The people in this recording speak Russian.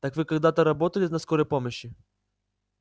так вы когда-то работали на скорой помощи